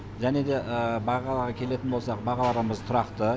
және де бағаға келетін болсақ бағаларымыз тұрақты